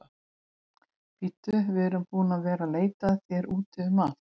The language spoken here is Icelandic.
Bíddu, við erum búin að vera að leita að þér úti um allt.